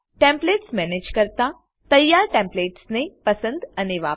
templates manage કરતા તૈયાર templates ને પસંદ અને વાપરતા